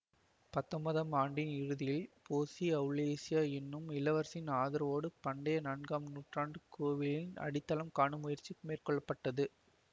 பத்தொன்பதாம் நூற்றாண்டின் இறுதியில் போசி அவுரேலியா என்னும் இளவரசியின் ஆதரவோடு பண்டைய நான்காம் நூற்றாண்டு கோவிலின் அடித்தளத்தை காணும் முயற்சி மேற்கொள்ள பட்டது